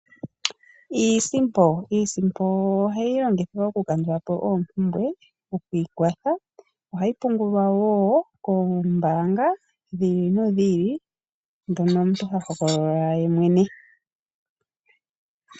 Iisimpo ohayi longithwa okukandulapo oompumbwe okwiikwatha ohayi pungulwa woo koombanga dhi ili nodhi ili dhono omuntu hahogolola yemwene.